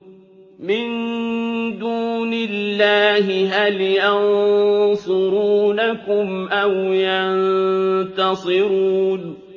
مِن دُونِ اللَّهِ هَلْ يَنصُرُونَكُمْ أَوْ يَنتَصِرُونَ